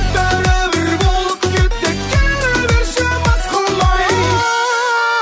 бәрібір болып кетті келе берші мас қылмай